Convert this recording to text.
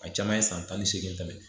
A caman ye san tan ni seegin tɛmɛ